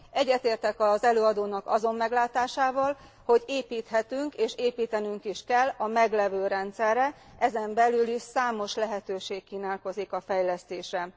Egyetértek az előadónak azon meglátásával, hogy építhetünk, és építenünk is kell a meglévő rendszerre, ezen belül is számos lehetőség kínálkozik a fejlesztésre.